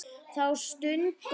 Þá stungum við